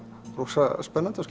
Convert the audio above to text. rosalega spennandi og